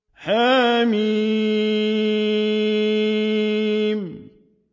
حم